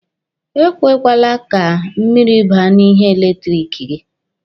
Ekwekwala ka mmiri baa n'ihe eletiriki gị.